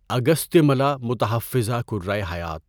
اگستیاملا متحفظہ کرۂ حیات